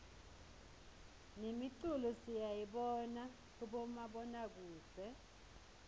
nemiculo siyayibona kubomabonakudze